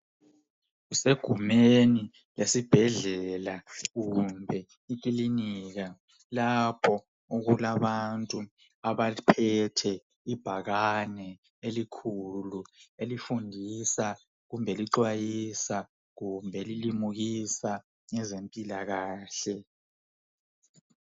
Kusegumeni lesibhedlela kumbe ikilinika lapho okulabantu abaphethe ibhakani elikhulu elifundisa kumbe ,eliqwayisa, kumbe ilimukisa ngezemphilakahle.